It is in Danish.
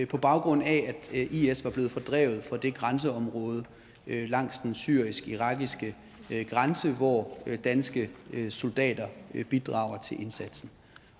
på baggrund af at is var blevet fordrevet fra det grænseområde langs den syrisk irakiske grænse hvor danske soldater bidrager til indsatsen